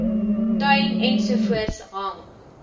tuin ensovoorts hang